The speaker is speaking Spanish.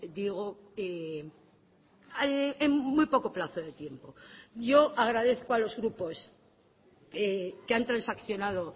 digo en muy poco plazo de tiempo yo agradezco a los grupos que han transaccionado